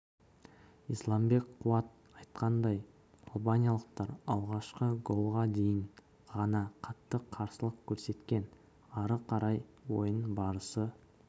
исламбек қуат айтқанындай албаниялықтар алғашқы голға дейін ғана қатты қарсылық көрсеткен ары қарай ойын барысы